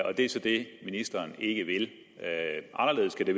og det er så det ministeren ikke vil anderledes kan det